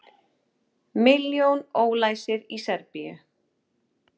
Milljón ólæsir í Serbíu